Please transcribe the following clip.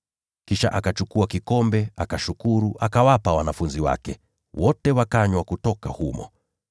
Kisha akakitwaa kikombe, akashukuru, akawapa, nao wote wakanywa kutoka humo.